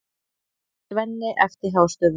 Svenni æpti hástöfum.